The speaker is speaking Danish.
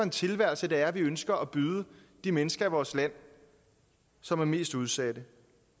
tilværelse det er vi ønsker at byde de mennesker i vores land som er mest udsatte